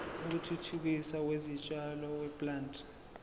wokuthuthukiswa kwezitshalo weplant